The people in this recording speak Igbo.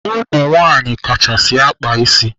Ụmụnwaanyị kachasị akpa ịsị.